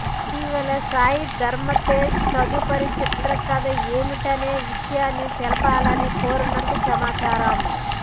ఇటీవల సాయిధరమ్ తేజ్ తదుపరి చిత్ర కథ ఏమిటనే విషయాన్ని తెలుపాలని కోరినట్టు సమాచారం